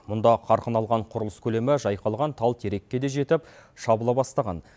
мұнда қарқын алған құрылыс көлемі жайқалған тал терекке де жетіп шабыла бастаған